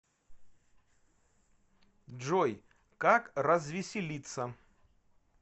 джой как развеселиться